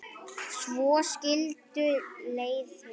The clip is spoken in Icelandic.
Svo skildu leiðir.